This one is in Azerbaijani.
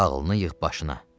Ağlını yığ başına.